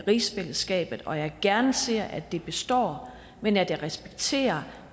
rigsfællesskabet og at jeg gerne ser at det består men at jeg respekterer